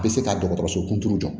Bɛ se ka dɔgɔtɔrɔso kunturu jɔ